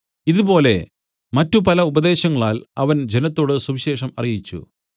ഇതുപോലെ മറ്റുപല ഉപദേശങ്ങളാൽ അവൻ ജനത്തോടു സുവിശേഷം അറിയിച്ചു